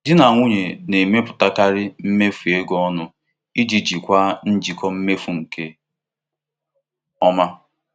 Di na nwunye na-emepụtakarị mmefu ego ọnụ iji jikwaa njikọ mmefu nke ọma.